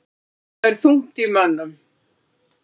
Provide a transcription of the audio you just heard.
Þar er þungt í mönnum.